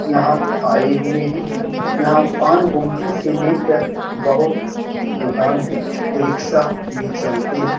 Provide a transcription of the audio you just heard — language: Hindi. यहाँ आये हुए है यहाँ पान गुमटी से लेकर बहुत दुकान है रिक्शा भी चलते है।